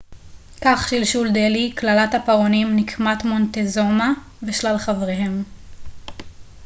כך שלשול דלהי קללת הפרעונים נקמת מונטזומה ושלל חבריהם